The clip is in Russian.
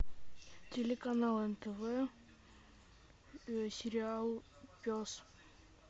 телеканал нтв сериал пес